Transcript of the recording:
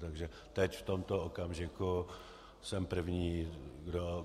Takže teď v tomto okamžiku jsem první,